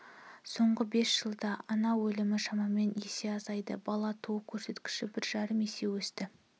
соңғы бес жылда ана өлімі шамамен есе азайды бала туу көрсеткіші бір жарым есе өсті